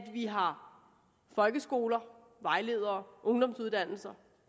vi har folkeskoler vejledere ungdomsuddannelser